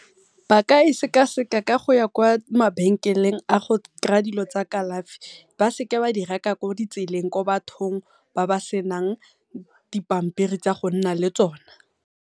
Ba ka e sekaseka ka go ya kwa mabenkeleng a go kry-a dilo tsa kalafi, ba seka ba di reka ko tseleng ko bathong ba ba senang dipampiri tsa go nna le tsona.